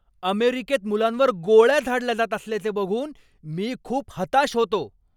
अमेरिकेत मुलांवर गोळ्या झाडल्या जात असल्याचे बघून मी खूप हताश होतो.